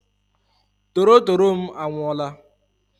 Torotoro m anwụọla!